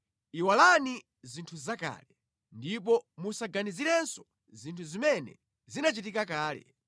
“Iwalani zinthu zakale; ndipo musaganizirenso zinthu zimene zinachitika kale.